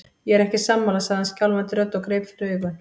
Ég er ekki sammála, sagði hann skjálfandi röddu og greip fyrir augun.